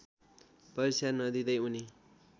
परीक्षा नदिँदै उनी